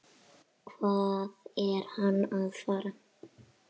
Hvað er hann að fara?